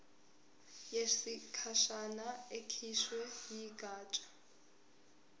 yesikhashana ekhishwe yigatsha